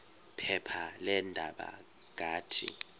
phepha leendaba ngathi